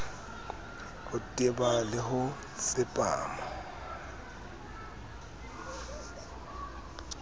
ho teba le ho tsepama